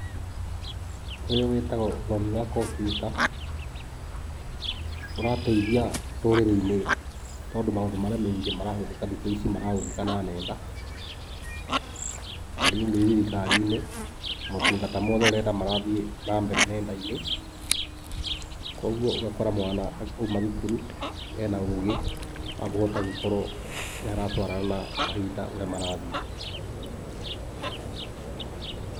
Ũyũ wĩtagwo ũthomi wa computer. Ũrateithia rũrĩrĩ-ini tondũ maũndũ marĩa maingĩ marahũthĩka thikũ ici marahũthĩka na ng'enda. Ta rĩu ũngĩthiĩ thirikari-inĩ, motungata mothe ũrenda marathiĩ na mbere ng'enda-inĩ. Kogwo ũgakora mwana auma thukuru ena ũgĩ wa kũhota gũkorwo nĩ aratwarana na mahinda ũrĩa marathiĩ.